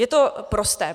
Je to prosté.